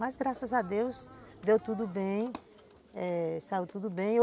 Mas graças a Deus, deu tudo bem, eh, saiu tudo bem.